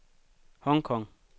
Hong Kong